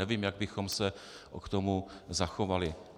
Nevím, jak bychom se k tomu zachovali.